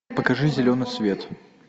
покажи зеленый свет